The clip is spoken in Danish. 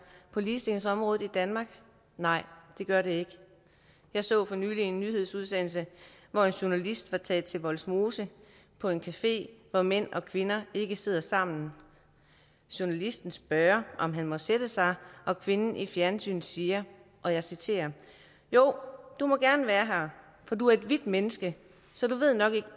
på ligestillingsområdet i danmark nej det gør det ikke jeg så for nylig en nyhedsudsendelse hvor en journalist var taget til vollsmose på en café hvor mænd og kvinder ikke sidder sammen journalisten spørger om han må sætte sig og kvinden i fjernsynet siger og jeg citerer jo du må gerne være her for du er et hvidt menneske så du ved nok ikke